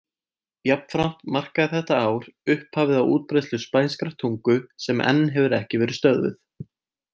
Jafnframt markaði þetta ár upphafið á útbreiðslu spænskrar tungu sem enn hefur ekki verið stöðvuð.